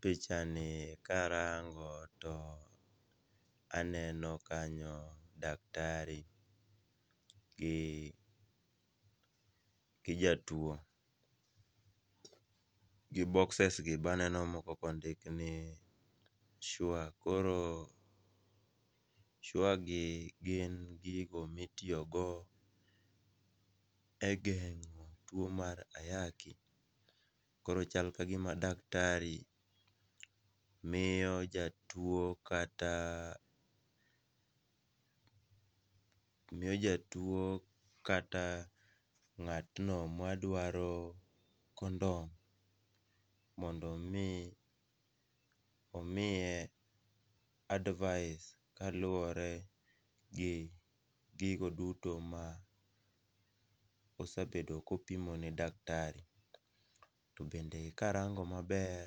Pichani karango, to aneno kanyo daktari gi jatuwo, gi bokses gi baneno moko kondik ni sure koro sure gin gin gigo mitiyogo e geng'o tuwo mar ayaki, koro chal ka gima dakatari miyo jatuwo kata ng'atno madwaro condom mondo omi omiye advice kaluwore gi gigo duto ma osebedo kopimo ne daktari to bende karango maber,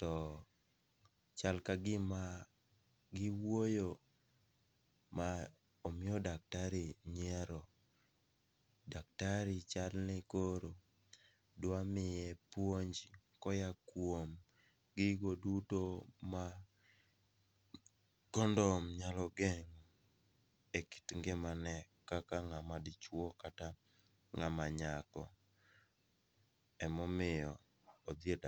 to chal ka gima giwuoyo ma omiyo daktari chalni koro dwamiye puonj koya kuom gigo duto ma condom nyalo geng'o e kit ngimane kaka ng'ama dichuo kata nga'ma nyako, emomiyo odhi e daktari.